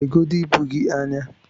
legodu ibu gị anyị!